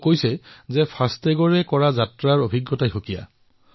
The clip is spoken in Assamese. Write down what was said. তেওঁ কৈছে যে ফাষ্ট টেগত যাত্ৰা কৰি তেওঁৰ অভিজ্ঞতা পৰিৱৰ্তন হৈছে